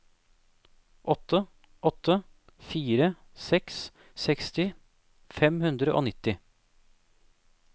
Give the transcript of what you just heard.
åtte åtte fire seks seksti fem hundre og nitti